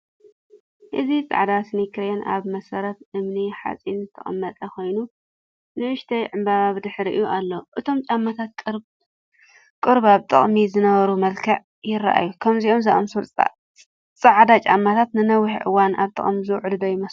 እዚ ጻዕዳ ስኒከርን ኣብ መሰረት እምኒ-ሓጺን ዝተቐመጠ ኮይኑ ንእሽቶ ዕምባባ ብድሕሪት ኣሎ። እቶም ጫማታት ቁሩብ ኣብ ጥቕሚ ዝነበሩ መልክዕ ይረኣዩ። ከምዚኦም ዝኣመሰሉ ጻዕዳ ጫማታት ንነዊሕ እዋን ኣብ ጥቅሚ ዝውዕሉ ዶ ይመስለኩም?